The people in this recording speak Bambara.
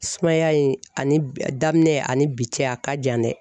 Sumaya in ani a daminɛ ani bi cɛ a ka jan dɛ